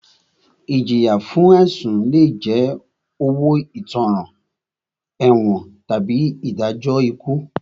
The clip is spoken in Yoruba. Ìjìyà fún ẹ̀sùn lé jẹ́ owó ìtanràn, ẹ̀wọ̀n tàbí ìdájọ́ ikú.